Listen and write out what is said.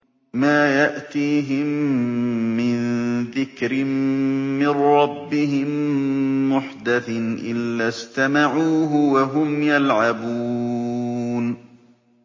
مَا يَأْتِيهِم مِّن ذِكْرٍ مِّن رَّبِّهِم مُّحْدَثٍ إِلَّا اسْتَمَعُوهُ وَهُمْ يَلْعَبُونَ